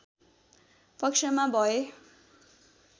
पक्षमा भए